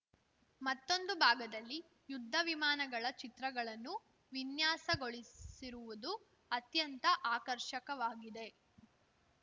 ಮತ್ತೊಂದು ಭಾಗದಲ್ಲಿ ಯುದ್ಧ ವಿಮಾನಗಳ ಚಿತ್ರಗಳನ್ನು ವಿನ್ಯಾಸಗೊಳಿಸಿರುವುದು ಅತ್ಯಂತ ಆಕರ್ಷಕವಾಗಿದೆ